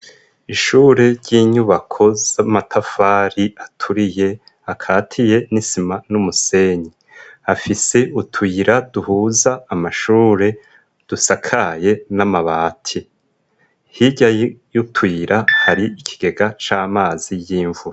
Ishure ryinyubako z'amatafari aturiye akatiye n'isima n'umusenyi, afise utuyira duhuza amashure dusakaye n'amabati, hirya yutuyira hari ikigega c'amazi y'imvura.